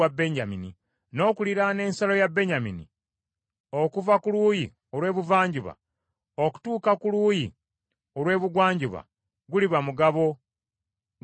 N’okuliraana ensalo ya Benyamini okuva ku luuyi olw’ebuvanjuba okutuuka ku luuyi olw’ebugwanjuba, guliba mugabo gwa Simyoni.